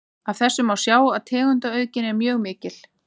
Af þessu má sjá að tegundaauðgin er mjög mikil.